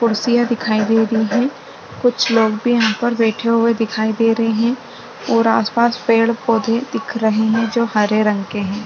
कुर्सियां दिखाई दे रही है कुछ लोग भी यहाँ पर बैठे हुए दिखाई दे रहे है और आस पास पेड पौधे दिख रहे है जो हरे रंग के है।